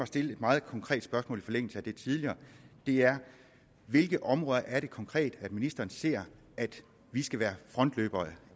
stille et meget konkret spørgsmål i forlængelse af det tidligere det er hvilke områder er det konkret at ministeren ser vi skal være frontløbere